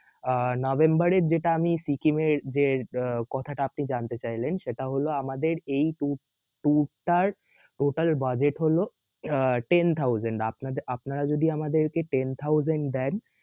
আহ নভেম্বরের যেটা আমি সিকিম এর যে আহ আপনি জানতে চাইলেন সেটা হলও আমাদের এই tour~tour টার total budget হল আহ ten thousand আপনা~আপনারা আমাদেরকে ten thousand দেন